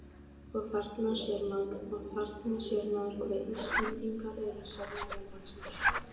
Og: Þarna sér maður, hve Íslendingar eru sérlega vel vaxnir.